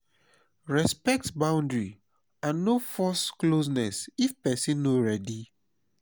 respect boundary and no force closeness if person no ready